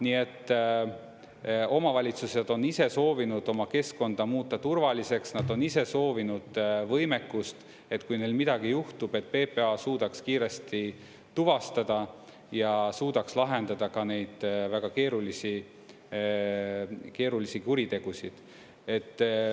Nii et omavalitsused on ise soovinud oma keskkonda muuta turvaliseks, nad on ise soovinud võimekust, et kui neil midagi juhtub, et PPA suudaks kiiresti tuvastada ja suudaks lahendada ka neid väga keerulisi kuritegusid.